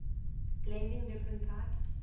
blending different types